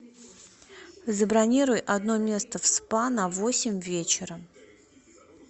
забронируй одно место в спа на восемь вечера